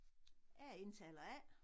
Jeg er indtaler A